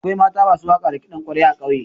Akwai mata masu waƙa da kiɗan ƙwarya a ƙauye.